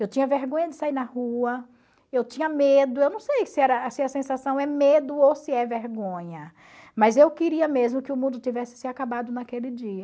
Eu tinha vergonha de sair na rua, eu tinha medo, eu não sei se era se a sensação é medo ou se é vergonha, mas eu queria mesmo que o mundo tivesse se acabado naquele dia.